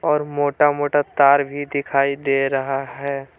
और मोटा मोटा तार भी दिखाई दे रहा है।